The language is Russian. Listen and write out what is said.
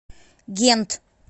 гент